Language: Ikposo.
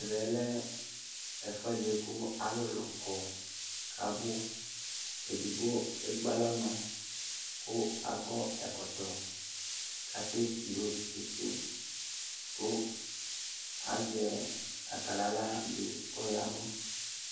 Ɛvɛ lɛ ɛfʊedi kalulu kɔ kabu Edigbo ekpalɔ nɔ akʊ akɔ ɛkɔtɔ katidu tsɩtsɩ kazɛ akalala dɩ kɔyavʊ